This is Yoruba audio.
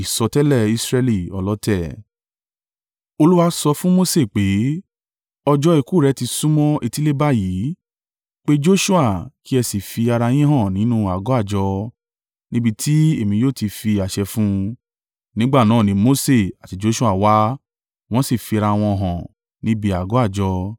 Olúwa sọ fún Mose pé, “Ọjọ́ ikú rẹ ti súnmọ́ etílé báyìí. Pe Joṣua kí ẹ sì fi ara yín hàn nínú àgọ́ àjọ, níbi tí èmi yóò ti fi àṣẹ fún un.” Nígbà náà ni Mose àti Joṣua wá, wọ́n sì fi ara wọn hàn níbi àgọ́ àjọ.